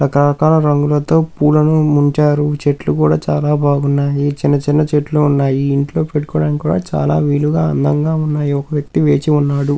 రక రకాల రంగులతో పూలన్నీ ఉంచారు చెట్లు కూడా చాలా బాగున్నాయి చిన్న చిన్న చెట్లు ఉన్నాయి ఇవి ఇంట్లో పెట్టుకోవడానికి కూడా చాలా వీలుగా అందంగా ఉన్నాయి ఒక వ్యక్తి వేచి ఉన్నాడు.